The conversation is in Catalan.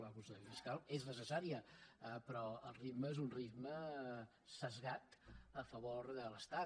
la consolidació fiscal és necessària però el ritme és un ritme esbiaixat a favor de l’estat